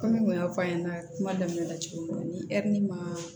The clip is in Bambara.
Kɔmi n kun y'a f'a ɲɛnɛ kuma daminɛ la cogo min na ni ma